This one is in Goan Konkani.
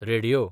रेडयो